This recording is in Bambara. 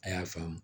A y'a faamu